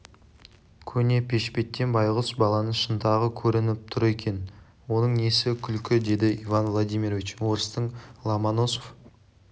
көне пешпеттен байғұс баланың шынтағы көрініп тұр екен оның несі күлкі деді иван владимирович орыстың ломоносов